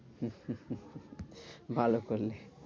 ভালো করলি।